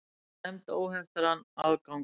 Tryggja nefnd óheftan aðgang